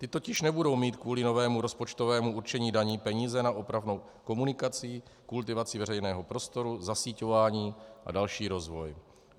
Ty totiž nebudou mít kvůli novému rozpočtovému určení daní peníze na opravu komunikací, kultivaci veřejného prostoru, zasíťování a další rozvoj.